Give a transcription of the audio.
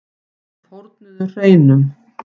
Þeir fórnuðu hreinum.